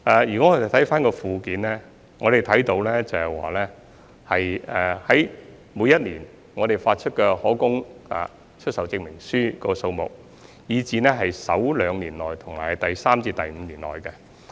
如果看回附件，我們可以看到每年發出的可供出售證明書數目，以至在首兩年內和第三至五年內的情況。